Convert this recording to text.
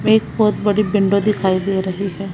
एक बहोत बड़ी विंडो दिखाई दे रही है।